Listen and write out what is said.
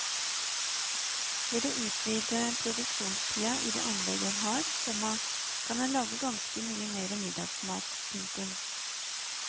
Ved å utvide produksjonstida i det anlegget en har, komma kan en lage ganske mye mer middagsmat. punktum